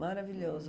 Maravilhoso.